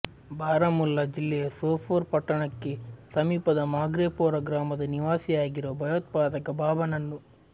ಬಾರಾಮುಲ್ಲಾ ಜಿಲ್ಲೆಯ ಸೋಪೋರ್ ಪಟ್ಟಣಕ್ಕೆ ಸಮೀಪದ ಮಾಗ್ರೇಪೋರಾ ಗ್ರಾಮದ ನಿವಾಸಿಯಾಗಿರುವ ಭಯೋತ್ಪಾದಕ ಬಾಬಾ ನನ್ನು